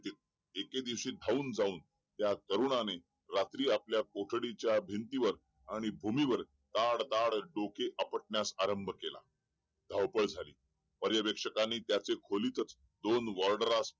एके दिवशी धावून जाऊन त्या तरुणाने रात्री आपल्या कोठडीच्या भिंतीवर आणि भूमीवर ताड ताड डोके आरंभ केला धावपळ झाली पर्यवेक्षकाने त्याचे खोलीतच दोन वॊर्ड